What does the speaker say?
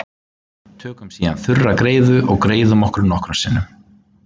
tökum síðan þurra greiðu og greiðum okkur nokkrum sinnum